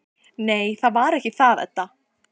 Nei, það var ekki það, Edda.